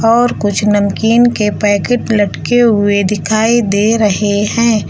और कुछ नमकीन के पैकेट लटके हुए दिखाई दे रहे हैं।